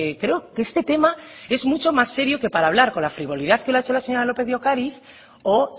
creo que este tema es mucho más serio que para hablar con la frivolidad que lo ha hecho la señora lópez de ocariz o